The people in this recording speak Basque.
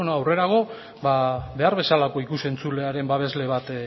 ba beno aurrerago behar bezalako ikus entzulearen babesle bat